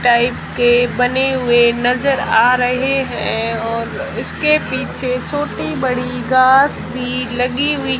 type के बने हुए नजर आ रहे हैं और उसके पीछे छोटी-बड़ी घास भी लगी हुई --